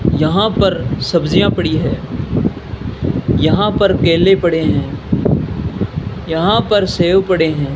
यहां पर सब्जियां पड़ी है यहां पर केले पड़े हैं यहां पर सेव पड़े हैं।